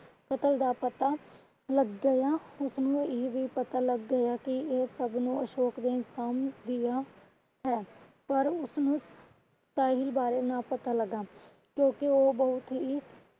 ਕ਼ਤਲ ਦਾ ਪਤਾ ਲੱਗ ਗਿਆ। ਉਸਨੂੰ ਇਹ ਵੀ ਪਤਾ ਲੱਗ ਗਿਆ ਕਿ ਇਹ ਸਬਨੁ ਅਸ਼ੋਕ ਜਿਹਾ ਇਨਸਾਨ ਹੈ। ਪਰ ਉਸਨੂੰ ਸਾਹਿਲ ਬਾਰੇ ਨਾ ਪਤਾ ਲੱਗਾ ਕਿਉਂਕਿ ਉਹ ਬਹੁਤ ਹੀ